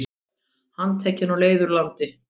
Handtekinn á leið úr landi